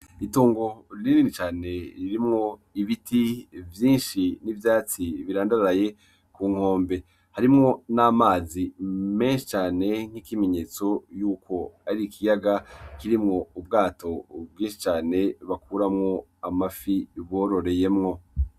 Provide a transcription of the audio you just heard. Itongo rinini cane ririmwo ibiti vyinshi n'ivyatsi birandaraye kunkombe. Harimwo n'amazi menshi cane, nk'ikimenyetso yuko ari ikiyaga kirimwo ubwato bwinshi cane bakuramwo amafi bororeyemwo.